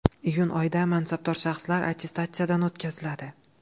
Iyun oyida mansabdor shaxslar attestatsiyadan o‘tkaziladi.